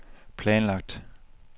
planlagt